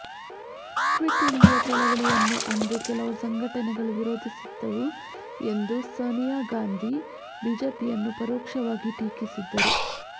quit India ಚಳವಳಿಯನ್ನು ಅಂದು ಕೆಲವು ಸಂಘಟನೆಗಳು ವಿರೋಧಿಸಿದ್ದವು ಎಂದು ಸೋನಿಯಾ ಗಾಂಧಿ ಬಿಜೆಪಿಯನ್ನು ಪರೋಕ್ಷವಾಗಿ ಟೀಕಿಸಿದರು